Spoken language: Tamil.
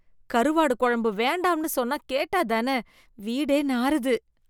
கருவாடு குழம்பு வேண்டாம்னு சொன்னா கேட்டாத்தான, வீடே நாறுது.